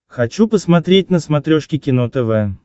хочу посмотреть на смотрешке кино тв